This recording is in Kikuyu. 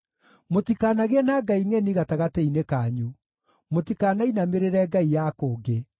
Mũtikanagĩe na ngai ngʼeni gatagatĩ-inĩ kanyu; mũtikanainamĩrĩre ngai ya kũngĩ.